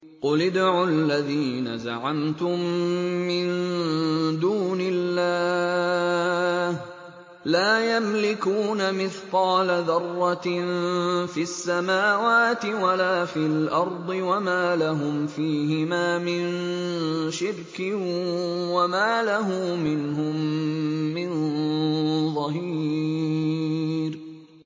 قُلِ ادْعُوا الَّذِينَ زَعَمْتُم مِّن دُونِ اللَّهِ ۖ لَا يَمْلِكُونَ مِثْقَالَ ذَرَّةٍ فِي السَّمَاوَاتِ وَلَا فِي الْأَرْضِ وَمَا لَهُمْ فِيهِمَا مِن شِرْكٍ وَمَا لَهُ مِنْهُم مِّن ظَهِيرٍ